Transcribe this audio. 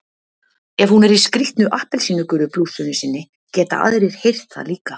Ef hún er í skrýtnu appelsínugulu blússunni sinni geta aðrir heyrt það líka.